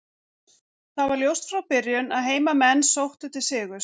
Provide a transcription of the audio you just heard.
Það var ljóst frá byrjun að heimamenn sóttu til sigurs.